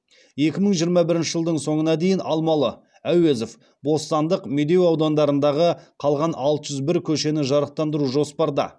екі мың жиырма бірінші жылдың соңына дейін алмалы әуезов бостандық медеу аудандарындағы қалған алты жүз бір көшені жарықтандыру жоспарда